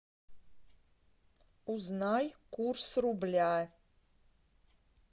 узнай курс рубля